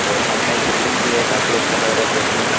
और सामने एक बिल्डिंग भी है। काफी अच्छा लग रहा देखने में।